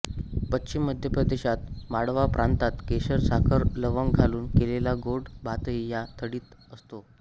पश्चिम मध्यप्रदेशात माळवा प्रांतात केशर साखर लवंग घालून केलेला गोड भातही या थाळीत असतो